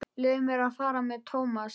Leyfðu mér að fara með Thomas.